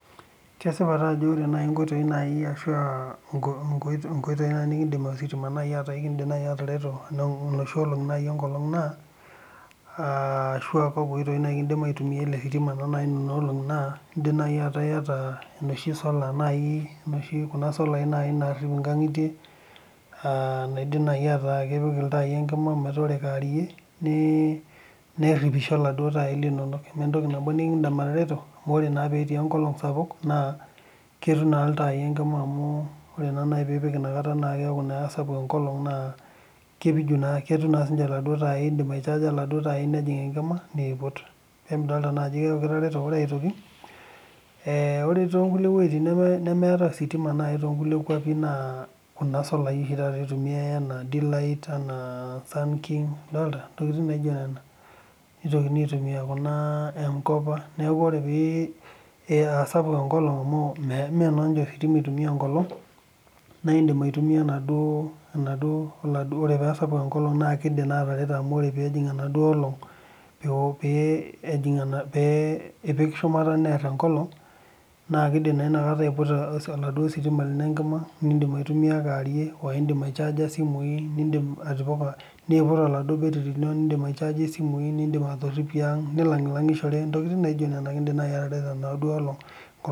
Kesipa Ajo ore nkoitoi naaji nikidim ositima naaji atareto naa noshi olongi naa enkolog arshua kakua oitoi kidim aitumia ele sitima Nena olongi naa edim naaji akuu metaa eyata enoshi sola naaji Kuna solai narrip enkangitite aa naidim naaji meeta kepiki ilntai Enkima dama metaa ore kewarie neripisho eladuo taai lino ementoki nabo nikindim atareto amu ore naa petii enkolog sapuk naa ekidim atipika ilntai Enkima ore naaji pipik enakata naa keeku kisapuk enkolog naa ketum sininje eladuo taai naidim aichaja eladuo taai nejieg Enkima input peemidol naa Ajo keeku kitareto ore aitoki ore too nkulie wuejitin nemeetae ositima too nkulie kwapie naa Kuna solai oshii taata etumia i ena d-light enaa sun_king edolita ntokitin naijio Nena nitokitin aitumia enaijio M_kopa neeku ore paa sapuk enkolog amu mmee naa ositima eitumia enkolog naidim aitumia oladuo oree paa sapuk enkolog ekidim ataereto amu ore pejig enaduo olong pipik shumata neer enkolog naa kindim naa enakata aiputa oladuo sitima lino Enkima nindim aitumia kewarie oo endim aichaja esimui oidim aputaoladuo betiti nidim aichajie simui nidim atorolie ang nilaglagishore entokitin naijio nena kindim atareto enaduo olong